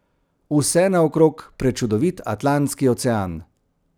Vse naokrog prečudovit Atlantski ocean.